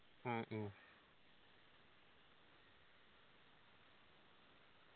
ആ